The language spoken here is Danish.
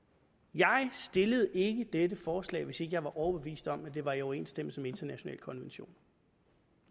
jeg stillede ikke dette forslag hvis ikke jeg var overbevist om at det var i overensstemmelse med internationale konventioner